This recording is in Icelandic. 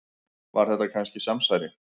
Var þetta kannski samsæri?